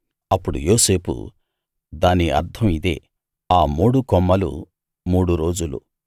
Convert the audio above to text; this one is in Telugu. అప్పుడు యోసేపు దాని అర్థం ఇదే ఆ మూడు కొమ్మలు మూడు రోజులు